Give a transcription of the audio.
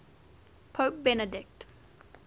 pope benedict